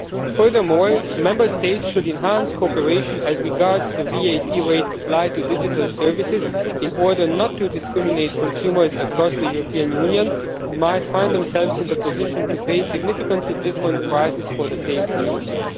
Furthermore, Member States should enhance cooperation as regards the VAT rate applied to digital services, in order not to discriminate against consumers across the European Union who might find themselves in the position of paying significantly different prices for the same services.